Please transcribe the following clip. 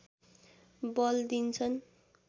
बल दिन्छन्